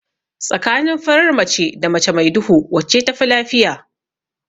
Tsakanin farar mace da mace mai duhu wacce tafi lafiya?